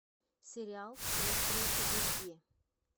сериал острые козырьки